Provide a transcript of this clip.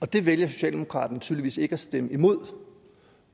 og det vælger socialdemokraterne tydeligvis ikke at stemme imod